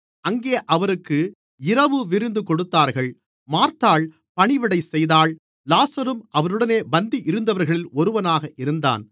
அங்கே அவருக்கு இரவு விருந்து கொடுத்தார்கள் மார்த்தாள் பணிவிடைசெய்தாள் லாசருவும் அவருடனே பந்தியிருந்தவர்களில் ஒருவனாக இருந்தான்